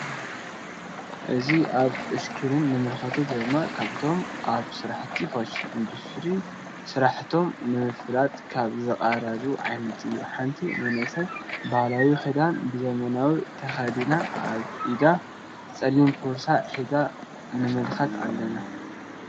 እዚ አብ እስክሪን እንምልከቶ ዘለና ካብቶም አብ ስራሕቲ ፋሽን ኢንድስትሪ ስራሕቶም ንምፍለጥ ካብ ዘቅርብዎ ዓይነት እዩ ::ሓንቲ መንእሰይ ባህላዊ ክዳን ብ ዘመናዊ ተከዲና አብ ኢዳ ፀሊም ቦርሳ ሒዛ ንምልከት አለና::